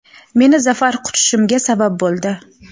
meni zafar quchishimga sabab bo‘ldi!.